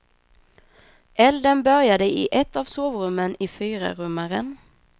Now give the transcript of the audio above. Elden började i ett av sovrummen i fyrarummaren.